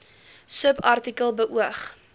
subartikel beoog